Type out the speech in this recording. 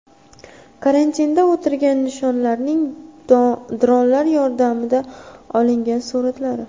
Karantinda o‘tirgan insonlarning dronlar yordamida olingan suratlari.